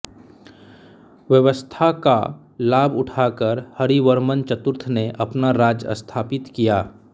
अव्यवस्था का लाभ उठाकर हरिवर्मन् चतुर्थ ने अपना राज्य स्थापित किया